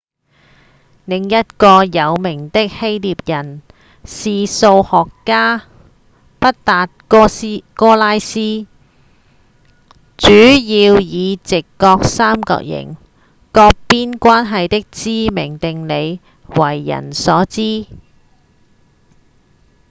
另一個有名的希臘人是數學家畢達哥拉斯主要以直角三角形各邊關係的知名定理為人所知